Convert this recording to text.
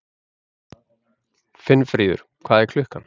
Finnfríður, hvað er klukkan?